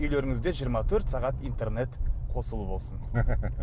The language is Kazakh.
үйлеріңізде жиырма төрт сағат интернет қосулы болсын